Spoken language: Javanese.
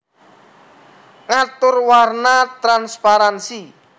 Ngatur warna transparansi